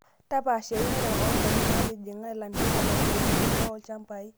Tapaasha eunore oondaikin naatijing'a ilanterera teunore olchambai.